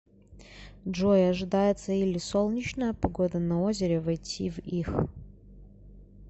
джой ожидается или солнечная погода на озере войти в их